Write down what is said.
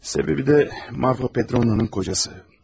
Səbəbi də Marfa Petrovna'nın kocası.